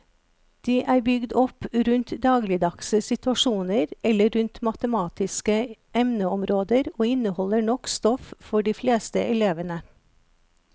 De er bygd opp rundt dagligdagse situasjoner eller rundt matematiske emneområder og inneholder nok stoff for de fleste elevene.